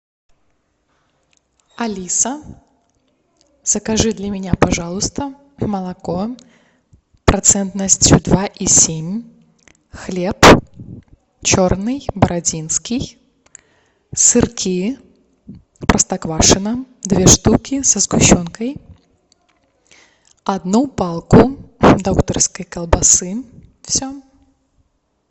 алиса закажи для меня пожалуйста молоко процентностью два и семь хлеб черный бородинский сырки простоквашино две штуки со сгущенкой одну палку докторской колбасы все